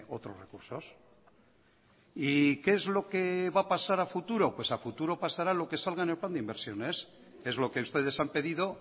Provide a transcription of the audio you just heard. otros recursos y qué es lo que va a pasar a futuro pues a futuro pasará lo que salga en el plan de inversiones es lo que ustedes han pedido